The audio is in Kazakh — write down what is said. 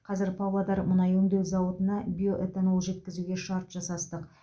қазір павлодар мұнай өңдеу зауытына биоэтанол жеткізуге шарт жасастық